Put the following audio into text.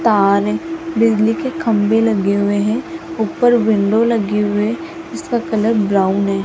तार है बिजली के खंभे लगे हुए है ऊपर विंडो लगे हुए इसका कलर ब्राउन है।